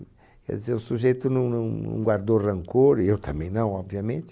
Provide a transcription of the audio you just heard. Quer dizer, o sujeito não não não guardou rancor, e eu também não, obviamente.